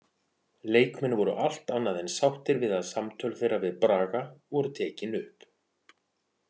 Leikmenn voru allt annað en sáttir við að samtöl þeirra við Braga voru tekin upp.